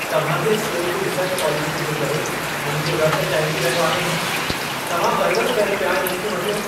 तव्हां जी स्टोर जी रिटर्न पॉलिसीअ जे करे मुंहिंजो रत टहिकी रहियो आहे। तव्हां वरि-वरि करे पिया इन्हनि खे मटियो।